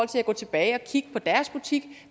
til at gå tilbage og kigge på deres butik